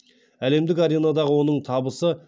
әлемдік аренадағы оның табысы